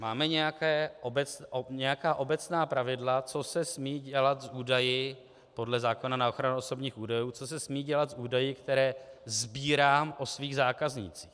Máme nějaká obecná pravidla, co se smí dělat s údaji podle zákona na ochranu osobních údajů, co se smí dělat s údaji, které sbírám o svých zákaznících.